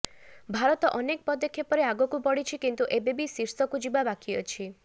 ଭାରତ ଅନେକ ପଦକ୍ଷେପରେ ଆଗକୁ ବଢିଛି କିନ୍ତୁ ଏବେ ବି ଶୀର୍ଷକୁ ଯିବା ବାକି ଅଛି